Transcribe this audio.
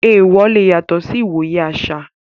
Taboos lè yàtọ̀ lórí ìwòye àṣà.